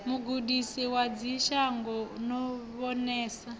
mugudisi wa ḓivhashango no vhonesa